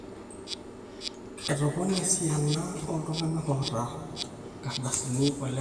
etopone esiana ooltung'anak oota inaardasi olemeeta